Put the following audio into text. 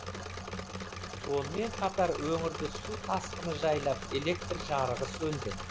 сонымен қатар өңірді су тасқыны жайлап электр жарығы сөнді